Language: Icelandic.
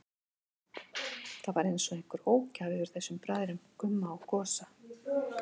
Það var einsog einhver ógæfa yfir þessum bræðrum, Gumma og Gosa.